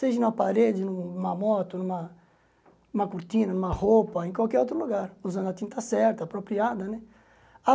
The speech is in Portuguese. Seja na parede, nu numa moto, numa numa cortina, numa roupa, em qualquer outro lugar, usando a tinta certa, apropriada, né? Ah